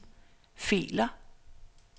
filer